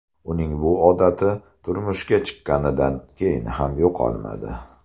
Uning bu odati turmushga chiqqanidan keyin ham yo‘qolmadi.